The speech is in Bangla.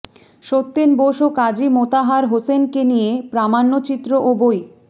সত্যেন বোস ও কাজী মোতাহার হোসেনকে নিয়ে প্রামাণ্যচিত্র ও বই